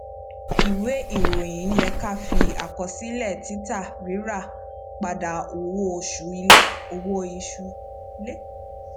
ìwé ìròyìn yẹ ká fi àkọsílẹ títà rírà padà owó oṣù ilé owó oṣù ilé